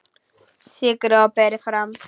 Sykrið og berið fram.